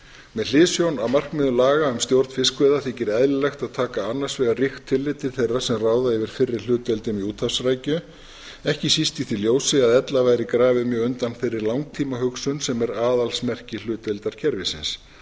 með hliðsjón af markmiðum laga um stjórn fiskveiða þykir eðlilegt að taka annars vegar ríkt tillit til þeirra sem ráða yfir fyrri hlutdeildum í úthafsrækju ekki síst í því ljósi að ella væri grafið mjög undan þeirra langtímahugsun sem er aðalsmerki hlutdeildarkerfisins